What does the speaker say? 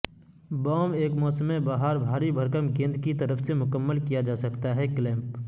boom ایک موسم بہار بھاری بھرکم گیند کی طرف سے مکمل کیا جاتا ہے کلیمپ